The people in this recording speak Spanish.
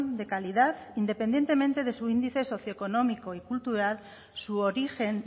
de calidad independientemente de su índice socioeconómico y cultural su origen